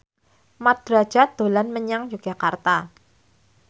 Mat Drajat dolan menyang Yogyakarta